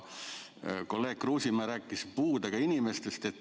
Kolleeg Kruusimäe rääkis puudega inimestest.